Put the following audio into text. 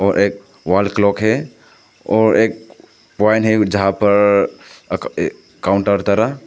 और एक wall clock है और एक पॉइंट है जहां पर अ ये काउंटर धरा --